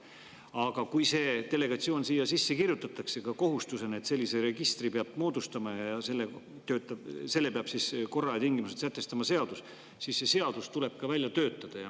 Aga kui see siia sisse kirjutatakse, ka kohustusena, et sellise registri peab moodustama ja selle korra ja tingimused peab sätestama seadus, siis see seadus tuleb ka välja töötada.